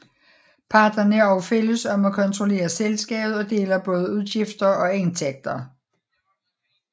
Parterne er også fælles om at kontrollere selskabet og deler både udgifter og indtægter